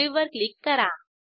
save वर click करा